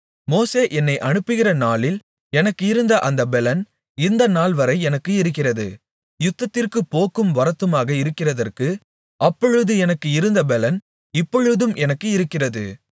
மோசே என்னை அனுப்புகிற நாளில் எனக்கு இருந்த அந்த பெலன் இந்தநாள்வரை எனக்கு இருக்கிறது யுத்தத்திற்குப் போக்கும் வரத்துமாக இருக்கிறதற்கு அப்பொழுது எனக்கு இருந்த பெலன் இப்பொழுதும் எனக்கு இருக்கிறது